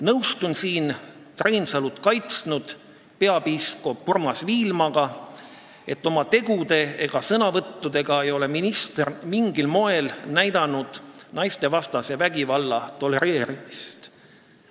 Nõustun Reinsalu kaitsnud peapiiskop Urmas Viilmaga, et ei oma tegude ega sõnavõttudega pole minister mingil moel näidanud naistevastase vägivalla tolereerimist.